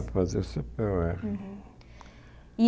É, fazer cê pê ó érre.